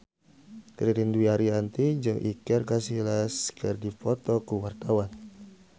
Ririn Dwi Ariyanti jeung Iker Casillas keur dipoto ku wartawan